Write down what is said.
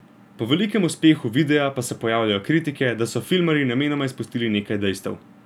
Po velikem uspehu videa pa se pojavljajo kritike, da so filmarji namenoma izpustili nekaj dejstev.